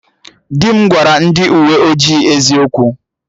Di m gwara ndị uwe ojii eziokwu